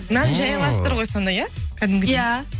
нан жая аласыздар ғой сонда иә кәдімгідей иә